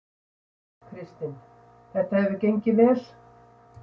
Kristinn: Þetta hefur gengið vel?